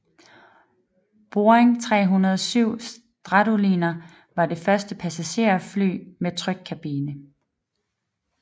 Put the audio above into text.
Boeing 307 Stratoliner var det første passagerfly med trykkabine